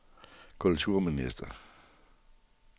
kulturminister